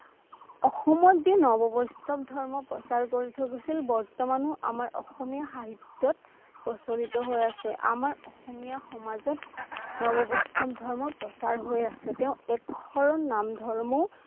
অসময়ত যি নববৈষ্ণৱ ধৰ্ম প্ৰচাৰ কৰি থৈ গৈছিল বৰ্তমান ও আমাৰ অসমীয়া সাহিত্যত প্ৰচলিত হৈ আছে আমাৰ অসমীয়া সমাজত নববৈষ্ণৱ ধৰ্ম প্ৰচাৰ হৈ আছে তেওঁ তেওঁ একশৰণ নাম ধৰ্ম ও